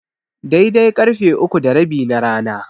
Daidai karfe uku da rabi na rana.